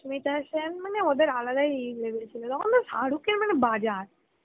সুস্মিতা সেন মানে ওদের আলাদাই লেভেল ছিল তখন তো শাহরুখ এর মানে বাজার